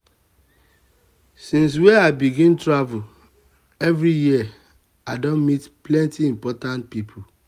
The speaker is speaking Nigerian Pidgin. since wey i begin travel every year i don meet plenty important pipo.